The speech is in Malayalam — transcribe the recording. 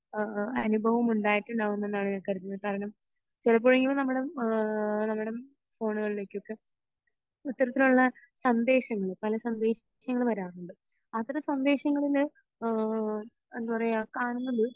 അഹ് അഹ് അനുഭവം ഉണ്ടായിട്ടുണ്ടാവും എന്നാണ് ഞാൻ കരുതുന്നത് കാരണം ചെലപ്പോ നമ്മുടെ ഏഹ് നമ്മുടെ ഫോണുകളിലേക്ക് ഒക്കെ ഇത്തരത്തിലുള്ള സന്ദേശങ്ങൾ പല സന്ദേശങ്ങൾ പല സന്ദേശങ്ങൾ വരാറുണ്ട് അത്തരം സന്ദേശങ്ങളിൽ ഏഹ് എന്താ പറയെ കാണുന്നത്